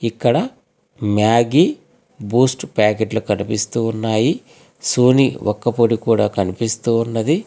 ఇక్కడ Maggi Boost ప్యాకెట్లు కనిపిస్తూ ఉన్నాయి సోనీ ఒక్కపొడి కూడా కనిపిస్తూ ఉన్నది.